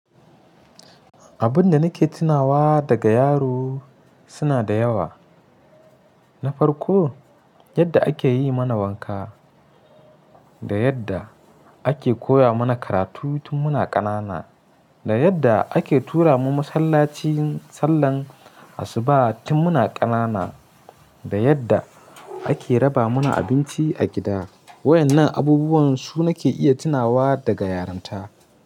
Abun da nake tunawa daga yaro suna da yawa. Na farko, yadda ake yi mana wanka da yadda ake koya mana karatu tun muna ƙanana, da yadda ake tura mu masallaci sallar asuba tun muna ƙanana, da yadda ake raba mana abinci a gida. Waɗannan abubuwan su nake iya tunawa daga yaronta.